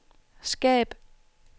skab